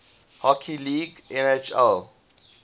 hockey league nhl